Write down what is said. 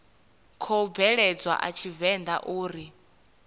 khou bveledzwa a tshivenḓa uri